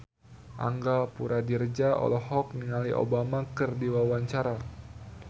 Angga Puradiredja olohok ningali Obama keur diwawancara